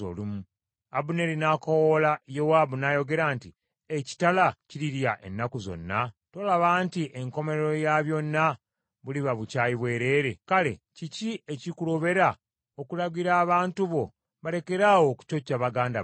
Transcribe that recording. Abuneeri n’akoowoola Yowaabu n’ayogera nti, “Ekitala kirirya ennaku zonna? Tolaba nti enkomerero ya byonna buliba bukyayi bwereere? Kale kiki ekikulobera okulagira abantu bo balekeraawo okucocca baganda baabwe?”